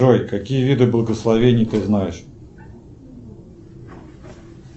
джой какие виды благословений ты знаешь